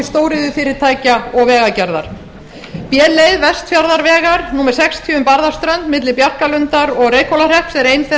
stóriðjufyrirtækja og vegagerðar sú leið vestfjarðavegar númer sextíu um barðaströnd milli bjarkarlundar og reykhólahrepps er ein þeirra